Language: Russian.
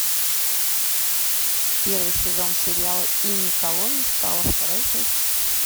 первый сезон сериала и никого не стало вторая часть